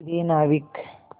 प्रिय नाविक